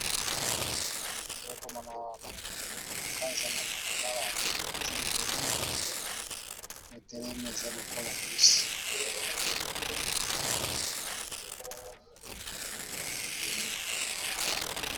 Naza komona awa bato ezelekoleka eza na malabala mutuk eza ebele etelema eza lokola busi.